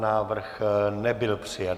Návrh nebyl přijat.